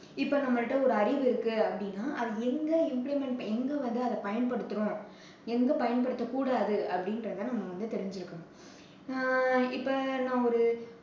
இப்போ நம்ம கிட்ட ஒரு அறிவு இருக்கு அப்படின்னா, அதை எங்க implement எங்க வந்து அதை பயன்படுத்துறோம், எங்க பயன்படுத்தக்கூடாது அப்படின்றதை நம்ம வந்து தெரிஞ்சுக்கணும். அஹ் இப்போ நான் ஒரு